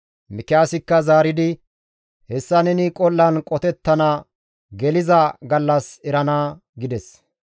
Mikiyaasikka zaaridi, «Hessa neni qol7an qotettana geliza gallas erana» gides.